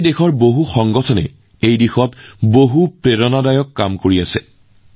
আজি দেশৰ বহু সংগঠনেও এই দিশত অতি প্ৰেৰণাদায়ক প্ৰচেষ্টা হাতত লৈছে